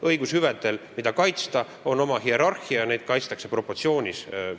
Õigushüvedel, mida kaitsta, on oma hierarhia, neid kaitstakse proportsioonis.